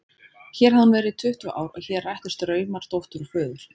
Hér hafði hún verið í tuttugu ár og hér rættust draumar dóttur og föður.